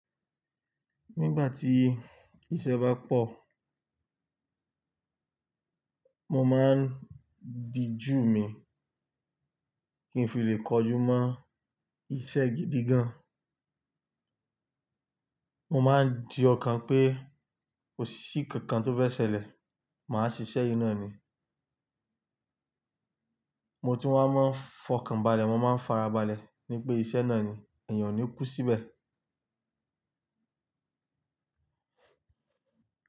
Nígbà tí iṣẹ́ bá pọ̀, mo máa ń dijú mi kí n fi lè kojú mọ́ iṣẹ́ gidi gan. Mo máa ń di ọkàn pé kò sí nkankan tó fẹ́ ṣẹlẹ̀, màá ṣiṣẹ́ naa ni. Mo tun wá mọ́ fọkànbalẹ̀, mo máa ń farabalẹ̀ ní pé iṣẹ́ náà ni, èèyàn ò ní kú síbẹ̀